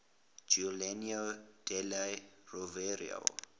giuliano della rovere